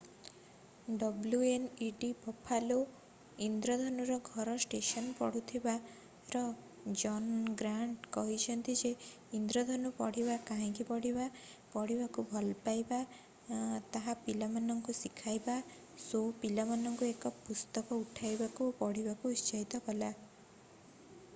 wned Buffalo ଇନ୍ଦ୍ରଧନୁର ଘର station ପଢୁଥିବା ର ଜନ୍ ଗ୍ରାଣ୍ଟ କହିଛନ୍ତି ଯେ ଇନ୍ଦ୍ରଧନୁ ପଢିବା କାହିଁକି ପଢିବା ... ପଢିବାକୁ ଭଲପାଇବା - ତାହା ପିଲାଙ୍କୁ ଶିଖାଇଲା - [ଶୋ] ପିଲାମାନଙ୍କୁ ଏକ ପୁସ୍ତକ ଉଠାଇବାକୁ ଏବଂ ପଢିବାକୁ ଉତ୍ସାହିତ କଲା ।